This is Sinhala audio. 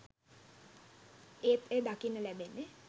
ඒත් එය දකින්න ලැබෙන්නේ